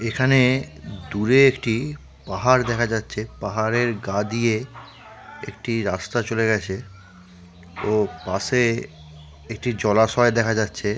এখানে দূরে একটি পাহাড় দেখা যাচ্ছে পাহাড়ের গা দিয়ে একটি রাস্তা চলে গেছে ও পাশে একটি জলাশয় দেখা যাচ্ছে ।